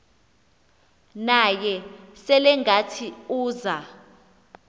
naye selengathi uza